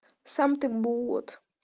сам ты бот